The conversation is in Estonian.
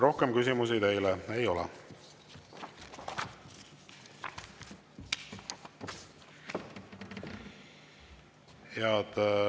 Rohkem küsimusi teile ei ole.